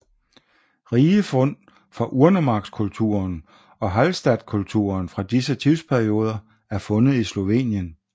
Rige fund fra urnemarkskulturen og Hallstattkulturen fra disse tidsperioder er fundet i Slovenien